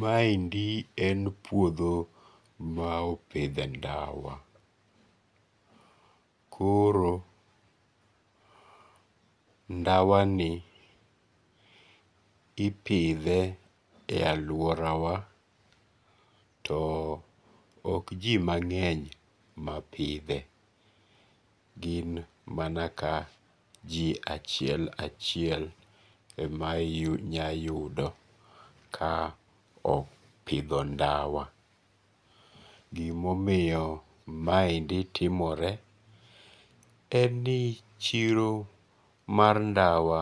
Maendi en puotho ma opithe ndawa, koro ndawani ipithe e aluorawa too ok ji mange'ny mapithe, gin mana ka ji achiel kachiel e ma inyayudo ka opitho ndawa, gimomiyo maendi timore en ni chiro mar ndawa